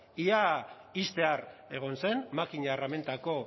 ia ixtear egon zen makina erramintako